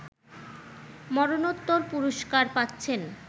মরণোত্তর পুরস্কার পাচ্ছেন